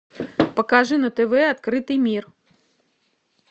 покажи на тв открытый мир